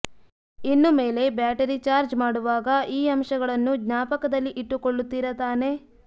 ಇನ್ನುಮೇಲೆ battery charge ಮಾಡುವಾಗ ಈ ಅಂಶಗಳನ್ನು ಜ್ಞಾಪಕದಲ್ಲಿ ಇಟ್ಟು ಕೊಳ್ಳುತ್ತೀರಾ ತಾನೆ